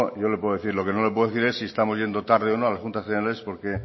yo le puedo decir lo que no le puedo decir es si estamos yendo tarde a las juntas generales